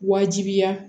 Wajibiya